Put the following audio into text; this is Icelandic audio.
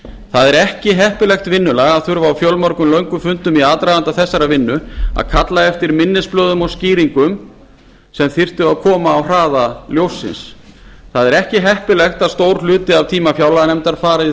er ekki heppilegt vinnulag að þurfa á fjölmörgum löngum fundum í aðdraganda þessarar vinnu að kalla eftir minnisblöðum og skýringum sem þyrftu að koma á hraða ljóssins það er ekki heppilegt að stór hluti af tíma fjárlaganefndar fari í það